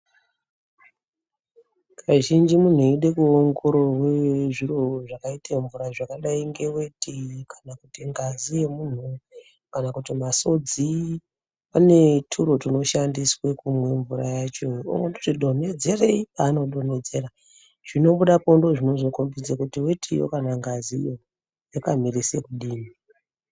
Kazhinji muntu eide kuongororwe zviro zvakaite mvura zvakadai ngeveti kana kuti ngazi yemuntu. Kana kuti masodzi pane turo tunoshandiswe kumwe mvura yacho ondoti donhedzerei panodonhedzera. Zvinobudapo ndozvinozokombidza kuti vetiyo kana ngaziyo yakamirise kudini.